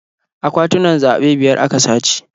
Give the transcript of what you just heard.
Akwatunan zaɓe biyar a ka sace.